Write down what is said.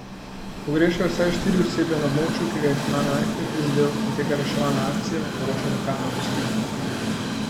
Pogrešajo vsaj štiri osebe, na območju, ki ga je cunami najhuje prizadel, poteka reševalna akcija, poročajo lokalne oblasti.